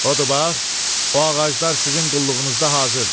Odur bax, o ağaclar sizin qulluğunuzda hazırdır.